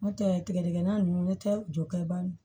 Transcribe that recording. N'o tɛ tigɛdigɛna ninnu tɛ jɔ